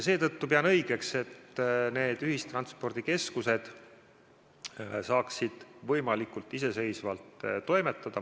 Seetõttu pean õigeks, et need ühistranspordikeskused saaksid võimalikult iseseisvalt toimetada.